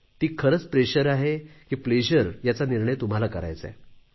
ते खरंच दडपण आहे की आनंद याचा निर्णय तुम्हालाच करायचा आहे